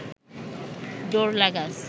দৌড় লাগাস